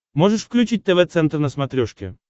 можешь включить тв центр на смотрешке